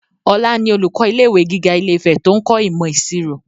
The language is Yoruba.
Ọlá ni olùkọ́ ilé ìwé gíga ilé-ìfẹ́ to ń kọ́ imo ìṣirò